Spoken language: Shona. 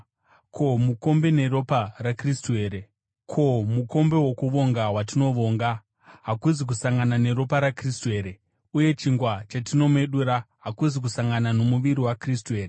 Ko, mukombe wokuvonga watinovonga, hakuzi kusangana neropa raKristu here? Uye chingwa chatinomedura, hakuzi kusangana nomuviri waKristu here?